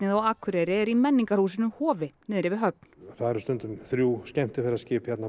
á Akureyri er í menningarhúsinu Hofi niðri við höfn það eru stundum þrjú skemmtiferðaskip hérna